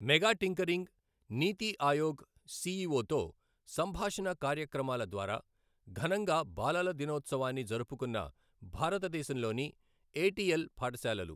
mega tinkering, NITI Aayog సీఈఓతో సంభాషణ కార్యక్రమాల ద్వారా ఘనంగా బాలల దినోత్సవాన్ని జరుపుకున్న భారతదేశంలోని ఏటిఎల్ పాఠశాలలు